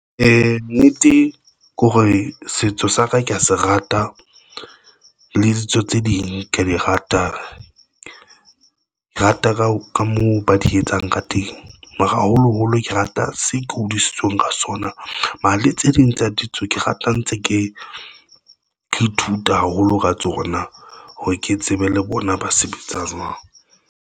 Nnete ke hore, setso sa ka ke ya se rata le ditso tse ding, ke ya di rata, rata ka moo ba di etsang ka teng, haholoholo ke rata se ke hodisitsweng ka sona mahalia tse ding tsa ditso ke rata ntse ke ithuta haholo ka tsona ha ke tsebe le bona ba sebetsang.